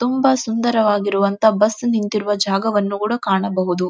ತುಂಬಾ ಸುಂದರವಾಗಿರುವಂತಹ ಬಸ್ ನಿಂತಿರುವ ಜಾಗವನ್ನು ಕೂಡ ಕಾಣಬಹುದು.